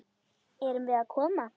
Erum við að koma?